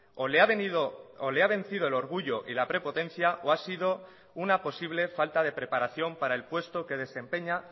o le ha venido o le ha vencido el orgullo y la prepotencia o ha sido una posible falta de preparación para el puesto que desempeña